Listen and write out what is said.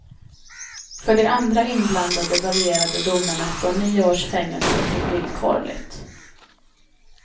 För de andra inblandade varierade domarna från nio års fängelse till villkorligt.